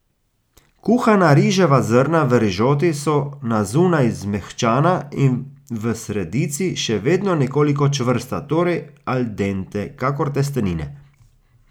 Kuhana riževa zrna v rižoti so na zunaj zmehčana in v sredici še vedno nekoliko čvrsta, torej al dente, kakor testenine.